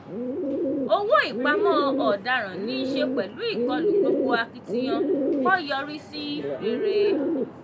owó ìpamọ́ ọ̀daràn ní í ṣe pẹ̀lú ìkọlù gbogbo akitiyan kọ yọrí sí rere.